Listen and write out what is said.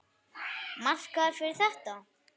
Markaður fyrir þetta?